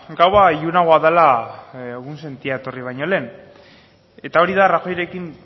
gaua ilunagoa dela egunsentia etorri baino lehen eta hori da rajoyrekin